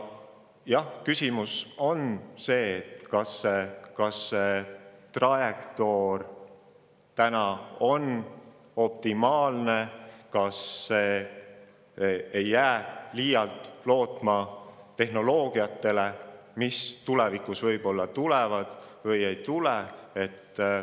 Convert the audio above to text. Jah, küsimus on selles, kas see trajektoor täna on optimaalne ja ega see ei jää liialt lootma tehnoloogiatele, mis tulevikus võib-olla tulevad, võib-olla ei tule.